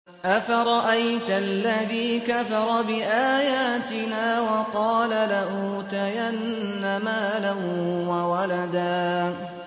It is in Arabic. أَفَرَأَيْتَ الَّذِي كَفَرَ بِآيَاتِنَا وَقَالَ لَأُوتَيَنَّ مَالًا وَوَلَدًا